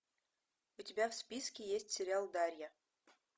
у тебя в списке есть сериал дарья